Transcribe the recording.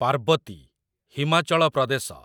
Parvati , Himachal Pradesh